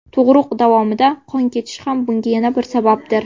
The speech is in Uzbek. Tug‘ruq davomida qon ketishi ham bunga yana bir sababdir.